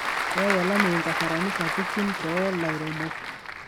Keyau olameyu nkasarani sapukin too lairemok.